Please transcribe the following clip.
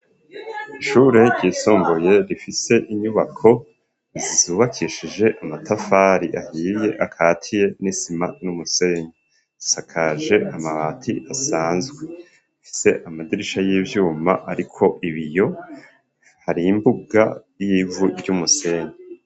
Ishure ryisumbuye rifise inyubako zubakishije amatafari ahiye akatiye n'isima n'umusenye isakaje amabati asanzwe afise amadirisha y'ivyuma ariko ibiyo hari imbuga yivu ry'umusenye.